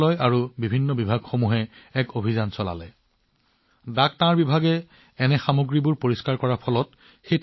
যেতিয়া ডাক বিভাগত পৰিষ্কাৰপৰিচ্ছন্নতা অভিযান চলোৱা হৈছিল তেতিয়া তাৰ জাংকয়াৰ্ড সম্পূৰ্ণৰূপে খালী হৈ পৰিছিল